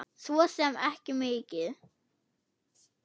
Svo sem ekki mikið.